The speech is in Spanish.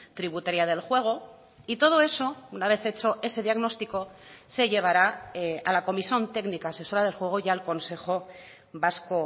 tributaria del juego y todo eso una vez hecho ese diagnóstico se llevará a la comisión técnica asesora de juego y al consejo vasco